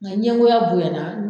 Nga ɲɛgoya bonyana